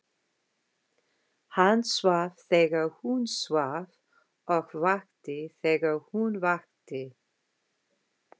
Hann svaf þegar hún svaf og vakti þegar hún vakti.